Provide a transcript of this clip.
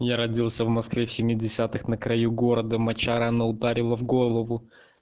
я родился в москве в семидесятом на краю города моча рано ударила в голову